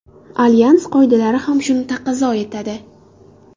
Alyans qoidalari ham shuni taqozo etadi.